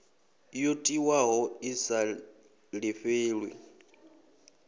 yo tiwaho i sa lifhelwi